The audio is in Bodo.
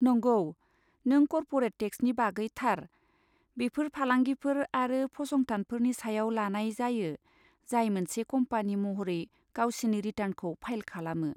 नंगौ, नों कर्परेट टेक्सनि बागै थार, बेफोर फालांगिफोर आरो फसंथानफोरनि सायाव लानाय जायो जाय मोनसे कम्पानि महरै गावसिनि रिटार्नखौ फाइल खालामो।